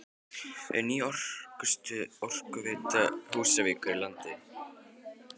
Ný orkustöð Orkuveitu Húsavíkur í landi